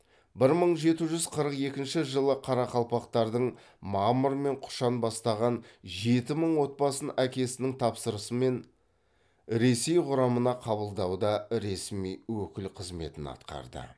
бір мың жеті жүз қырық екінші жылы қарақалпақтардың мамыр мен құшан бастаған жеті мың отбасын әкесінің тапсырмасымен ресей құрамына қабылдауда ресми өкіл қызметін атқарды